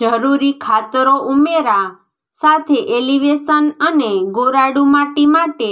જરૂરી ખાતરો ઉમેરા સાથે એલિવેશન અને ગોરાડુ માટી માટે